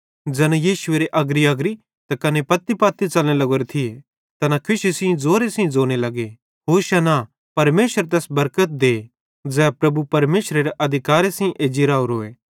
ज़ैना यीशुएरे अग्रीअग्री त कने पत्तीपत्ती च़लने लग्गोरे थिये तैना खुशी सेइं ज़ोरे सेइं ज़ोने लग्गे होशाना परमेशरेरी तारीफ़ भोए परमेशर तैस बरकत दे ज़ै प्रभुपरमेशरेरे अधिकारे सेइं साथी एज्जी राओरोए